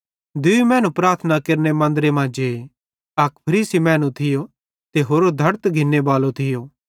दूई मैनू प्रार्थना केरने मन्दरे मां जे अक फरीसी मैनू थियो ते होरो धड़त टेकस घिन्ने बालो थियो